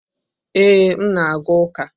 Ee, m na-aga ụka.